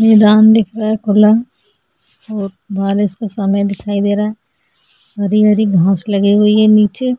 ये दान दिख रहा है खुला और बारिश का समय दिखाई दे रहा है हरी-हरी घास लगी हुई है नीचे